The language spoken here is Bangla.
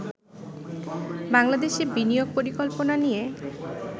বাংলাদেশে বিনিয়োগ পরিকল্পনা নিয়ে